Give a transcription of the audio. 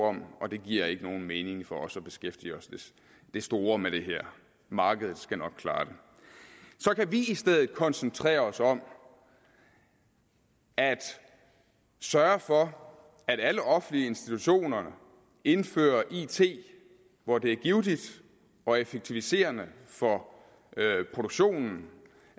om og det giver ikke nogen mening for os at beskæftige os det store med det markedet skal nok klare det så kan vi i stedet koncentrere os om at sørge for at alle offentlige institutioner indfører it hvor det er givtigt og effektiviserende for produktionen